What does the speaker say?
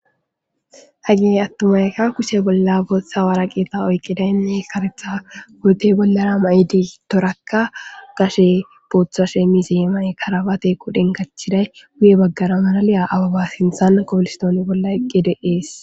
Hage attumayka kushe bolla bootsa wara qeeta oyqidaynne karetha gurtey bollara ma'idi toraka gashe bootha shemisee may karabate qodhen kachiday guye baggara manaliya ababa sinthan kopolistoon bolla eqqede ees